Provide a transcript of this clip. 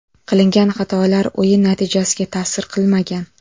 Qilingan xatolar o‘yin natijasiga ta’sir qilmagan”.